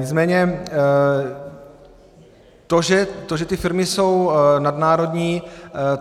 Nicméně to, že ty firmy jsou nadnárodní,